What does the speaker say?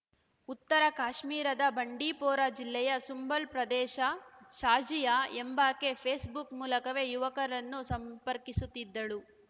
ಉತ್ತರ ಕಾಶ್ಮೀರದ ಬಂಡಿಪೋರಾ ಜಿಲ್ಲೆಯ ಸುಂಬಲ್‌ ಪ್ರದೇಶ ಶಾಜಿಯಾ ಎಂಬಾಕೆ ಫೇಸ್‌ಬುಕ್‌ ಮೂಲಕವೇ ಯುವಕರನ್ನು ಸಂಪರ್ಕಿಸುತ್ತಿದ್ದಳು